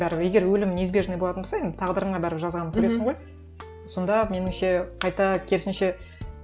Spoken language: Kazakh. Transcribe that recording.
бәрібір егер өлім неизбежный болатын болса енді тағдырыңа бәрібір жазғанын көресің ғой сонда меніңше қайта керісінше